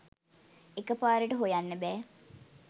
එක පාරට හොයන්න බෑ.